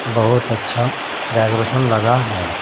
बहुत अच्छा डेकोरेशन लगा है।